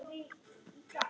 Þrettán ára?